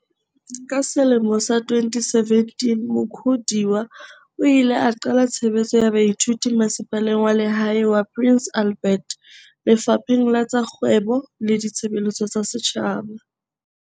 Ka selemo sa 2017 Mukhodiwa o ile a qala tshebetso ya baithuti Masepaleng wa Lehae wa Prince Albert, Lefapheng la tsa Kgwebo le Ditshebeletso tsa Setjhaba.